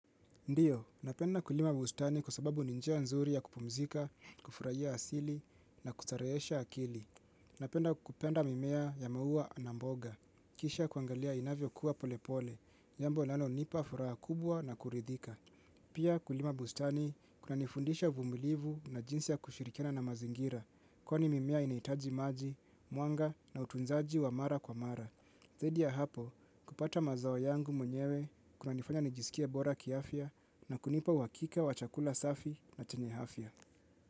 Ndio, napenda kulima bustani kwa sababu ni njia nzuri ya kupumzika, kufurahia asili, na kustarehesha akili. Napenda kupenda mimea ya maua na mboga, kisha kuangalia inavyokua pole pole, jambo linalo nipa furaha kubwa na kuridhika. Pia kulima bustani kuna nifundisha vumilivu na jinsi ya kushirikina na mazingira, kwani mimea inahitaji maji, mwanga, na utunzaji wa mara kwa mara. Zaidi ya hapo, kupata mazao yangu mwenyewe kunanifanya nijisikie bora kiafya, na kunipa uhakika wa chakula safi, na chenye afya.